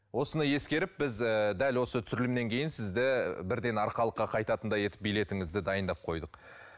осыны ескеріп біз ыыы дәл осы түсірілімнен кейін сізді бірден арқалыққа қайтатындай етіп билетіңізді дайындап қойдық